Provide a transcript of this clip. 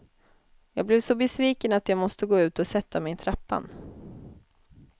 Jag blev så besviken att jag måste gå ut och sätta mig i trappan.